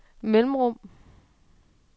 mellemrum